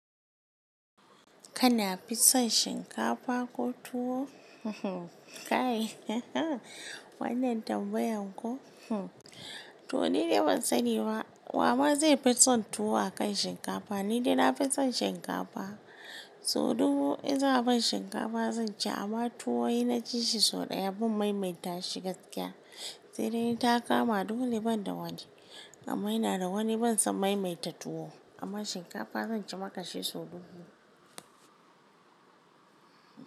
Kana fison shinkafa ko tuwo? Kai wannan tambayan ko? To ni dai ban sani ba, wa ma zai fi son tuwo akan shinkafa, ni dai na fi son shinkafa. So dubu in za a ban shinkafa zan ci amma tuwo inna ci shi sau ɗaya ban maimaita shi gaskiya. Saidai in ta kama dule ban da wani. Amma ina da wani ban son maimaita tuwo, amma shinkafa zan ci maka shi so dubu.